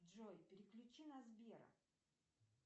джой переключи на сбера